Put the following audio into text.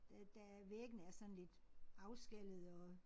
Der der væggene er sådan lidt afskallede og